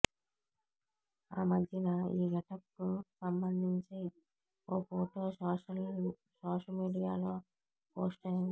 ఆ మధ్యన ఈ గెటప్ కు సంభందించి ఓ ఫోటో సోషమీడియాలో పోస్ట్ అయింది